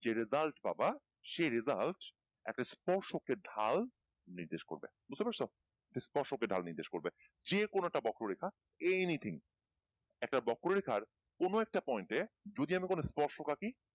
যে result পাব সে result একটা স্পর্শ কে ঢাল নির্দেশ করবে বুঝতে পারছো স্পর্শকে ঢাল নির্দেশ করবে যে কোনো একটা বক্র রেখা anything একটা বক্র রেখার কোনো একটা point এ যদি আমি কোনো স্পর্শ কাটি